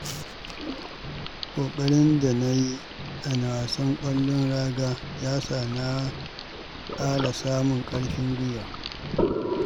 Ƙoƙarin da na yi a wasan ƙwallon raga ya sa na ƙara samun ƙarfin gwiwa.